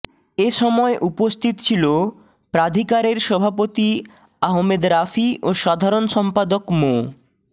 এ সময় উপস্থিত ছিল প্রাধিকারের সভাপতি আহমেদ রাফি ও সাধারণ সম্পাদক মো